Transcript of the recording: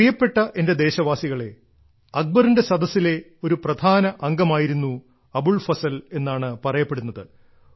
പ്രിയപ്പെട്ട എന്റെ ദേശവാസികളേ അക്ബറിന്റെ സദസ്സിലെ ഒരു പ്രധാന അംഗമായിരുന്നു അബുൾ ഫസൽ എന്നാണ് പറയപ്പെടുന്നത്